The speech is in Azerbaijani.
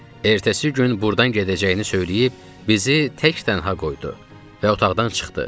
Ertəsi gün burdan gedəcəyini söyləyib, bizi tək-tənha qoydu və otaqdan çıxdı.